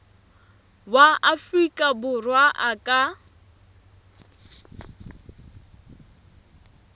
wa afrika borwa a ka